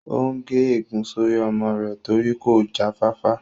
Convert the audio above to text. Ó n gé ègún sórí ọmọ rẹ̀ torí kò já fáfá